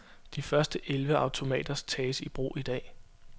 De første elleve automater tages i brug i dag.